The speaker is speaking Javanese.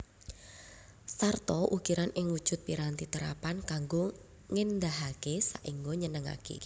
Sarta ukiran ing wujud piranti terapan kanggo ngéndahaké saéngga nyenengaké